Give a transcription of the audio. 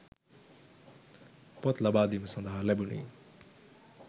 පොත් ලබාදීම සඳහා ලැබුණි